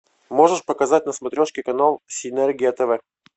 можешь показать на смотрешке канал синергия тв